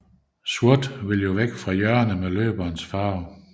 Sort vil jo væk fra hjørnet med løberens farve